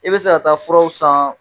I bɛ se ka taa furaw san